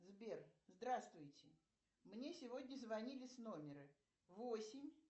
сбер здравствуйте мне сегодня звонили с номера восемь